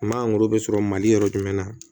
Ma sɔrɔ mali yɔrɔ jumɛn na